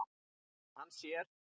En hann sér.